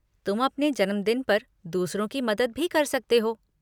तुम अपने जन्मदिन पर दूसरों की मदद भी कर सकते हो।